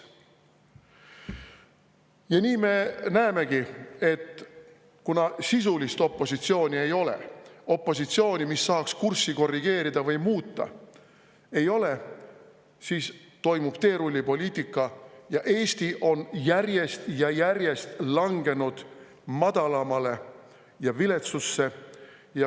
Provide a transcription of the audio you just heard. Ja nii me näemegi, et kuna sisulist opositsiooni ei ole – opositsiooni, mis saaks kurssi korrigeerida või muuta, ei ole –, siis toimub teerullipoliitika ja Eesti on järjest ja järjest langenud madalamale ja viletsusse.